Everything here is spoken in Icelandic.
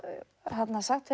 sagt